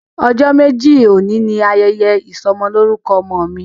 Ojo meji oni ni yẹyẹ isọmọlorukọ ọmọ mi.